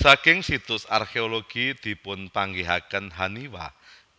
Saking situs arkeologi dipunpanggihaken haniwa